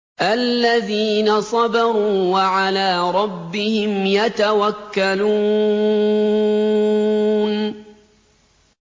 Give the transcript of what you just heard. الَّذِينَ صَبَرُوا وَعَلَىٰ رَبِّهِمْ يَتَوَكَّلُونَ